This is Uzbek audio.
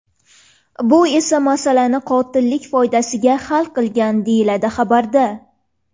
Bu esa masalani qotillik foydasiga hal qilgan”, deyiladi xabarda.